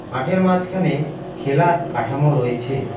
মাঠের মাসখানে খেলার কাঠামো রয়েছে।